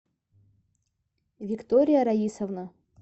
виктория раисовна